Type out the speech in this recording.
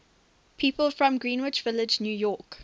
people from greenwich village new york